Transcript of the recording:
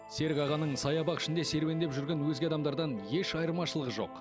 серік ағаның саябақ ішінде серуендеп жүрген өзге адамдардан еш айырмашылығы жоқ